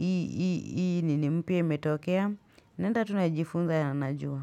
Ii nini mpia imetokea naenda tunajifunza ya majuu.